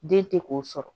Den tɛ k'o sɔrɔ